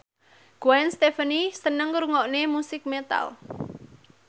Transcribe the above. Gwen Stefani seneng ngrungokne musik metal